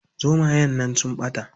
Zomayen nan sun ɓata.